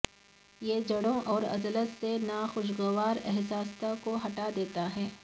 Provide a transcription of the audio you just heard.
یہ جوڑوں اور عضلات سے ناخوشگوار احساسات کو ہٹا دیتا ہے